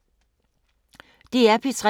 DR P3